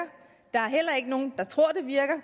der er heller ikke nogen der tror at det virker